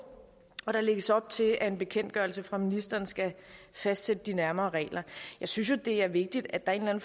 og der lægges op til at en bekendtgørelse fra ministeren skal fastlægge de nærmere regler jeg synes det er vigtigt at der er en